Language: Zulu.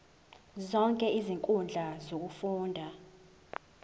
zonke izinkundla zokufunda